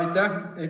Aitäh!